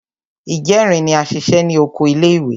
Ìjẹrin ni a ṣiṣẹ́ ní oko ilé ìwé.